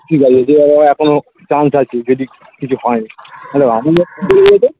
কি বলো যেভাবে হোক এখনো chance আছে যদি কিছু হয় hello আমি